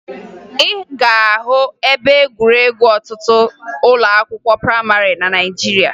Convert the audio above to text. Ị ga-ahụ ebe egwuregwu n'ọtụtụ ụlọakwụkwọ prayịmarị na Naịjirịa